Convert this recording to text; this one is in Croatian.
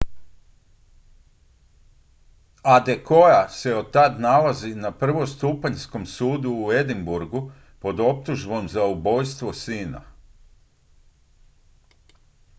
adekoya se otad nalazi na prvostupanjskom sudu u edinburghu pod optužbom za ubojstvo sina